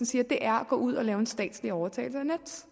siger er at gå ud og lave en statslig overtagelse af nets